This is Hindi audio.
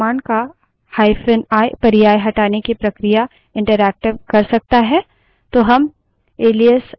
rm जानते हैं कि आरएम command का hyphen i पर्याय हटाने की प्रक्रिया interactive कर सकता है